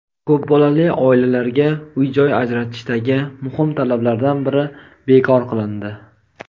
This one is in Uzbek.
Ko‘p bolali oilalarga uy-joy ajratishdagi muhim talablardan biri bekor qilindi.